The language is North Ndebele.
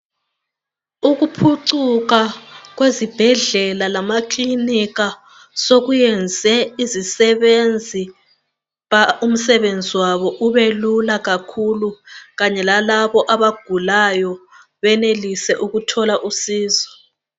ukuphucuka kwezibhedlela lama kilinika sokuyenze izisebenzi umsebenzi wabo ube lula kakhulu kanye lowalabo abagulayo benelise ukuthola usizo